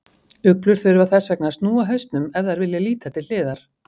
Uglur þurfa þess vegna að snúa hausnum ef þær vilja líta til hliðar.